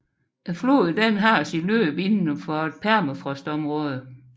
Floden har sit løb inden for permafrostområdet